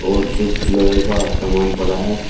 और कुछ लोहे का सामान पड़ा है।